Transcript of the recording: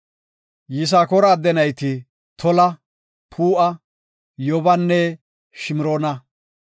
Yisakoora adde nayti Tola, Puu7a, Yoobanne Shimroona.